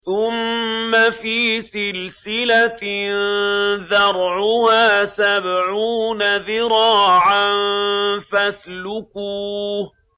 ثُمَّ فِي سِلْسِلَةٍ ذَرْعُهَا سَبْعُونَ ذِرَاعًا فَاسْلُكُوهُ